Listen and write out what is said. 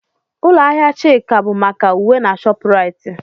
Ụlọ ahịa Chika maka uwe na Shopuraiti.